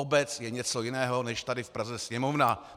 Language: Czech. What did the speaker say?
Obec je něco jiného než tady v Praze Sněmovna.